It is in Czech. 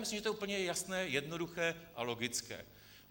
Myslím, že to je úplně jasné, jednoduché a logické.